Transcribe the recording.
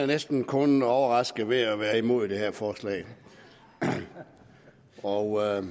næsten kun overraske ved at være imod det her forslag og